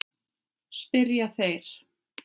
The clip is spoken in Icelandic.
spyrja þeir.